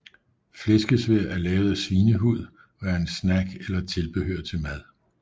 Flæskesvær er lavet af svinehud og er en snack eller tilbehør til mad